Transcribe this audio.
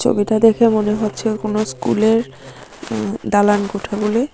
ছবিটা দেখে মনে হচ্ছে কোনো স্কুলের দালান কোঠা বলে।